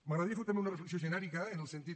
m’agradaria fer també una reflexió genèrica en el sentit